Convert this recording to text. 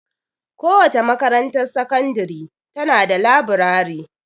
Kowace makarantar sakandiri ta na da laburare.